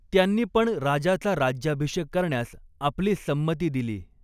त्यांनी पण राजाचा राज्याभिषेक करण्यास आपली संमति दिली.